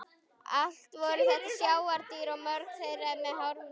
Allt voru þetta sjávardýr og mörg þeirra með harða skel.